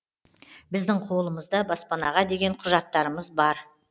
біздің қолымызда баспанаға деген құжаттарымыз бар